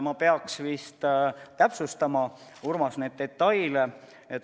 Ma peaks vist täpsustama, Urmas, neid detaile.